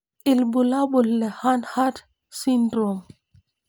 Ibulabul le Hanhart syndrome.